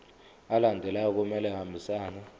alandelayo kumele ahambisane